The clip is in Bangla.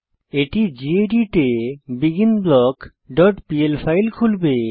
এটি গেদিত এ বিগিনব্লক ডট পিএল ফাইল খুলবে